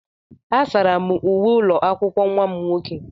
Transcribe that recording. Asara m uwe ụlọ akwụkwọ nwa m nwoke.